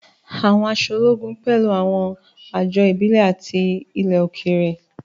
Àwọn aṣọ ológun pẹ̀lú àwọn àjọ ìbílẹ̀ àti ti ilẹ̀ òkèèrè.